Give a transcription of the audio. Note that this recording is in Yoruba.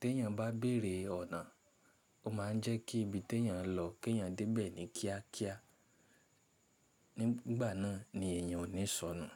Tí èèyàn bá béèrè ọ̀nà, ó máa ń jẹ́ kí ibi tí èèyàn ń lọ kí èèyàn dé bẹ̀ ní kíá kíá. Nígbà náà ni èèyàn ò ní sọnù.